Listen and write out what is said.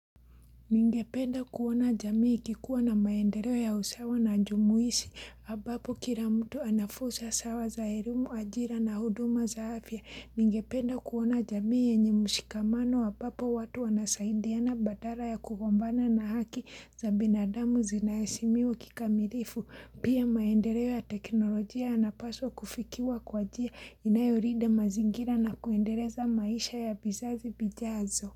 Ningependa kuona jamii ikikuwa na maendeleo ya usawa na jumuishi, ambapo kila mtu anafursa sawa za elimu, ajira na huduma za afya. Ningependa kuona jamii yenye ushikamano ambapo watu wanasaidiana badala ya kugombana na haki za binadamu zinaheshimiwa kikamilifu. Pia maendeleo ya teknolojia yanapaswa kufikiwa kwa njia inayolinda mazingira na kuendeleza maisha ya vizazi vijazo.